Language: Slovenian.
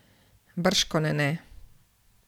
Bržkone ne.